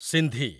Sindhi